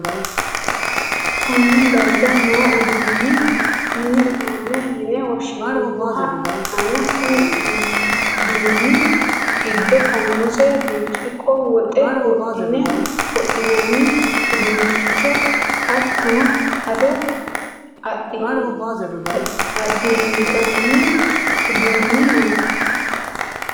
Konne darga noo uduunni mini uduunne yine woshshinemmoha ikkanna, konni uduunni giddo farmuuze, biriciqqo, woxe wodhinanni uduunnicho hattono ado adnganni uduunni no.